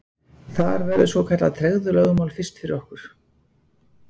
Þar verður svokallað tregðulögmál fyrst fyrir okkur.